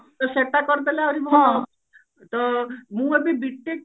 ତ ସେଟା କରିଦେଲେ ଆହୁରି ଭଲ ତ ମୁଁ ଏବେ B.TECH